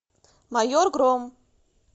майор гром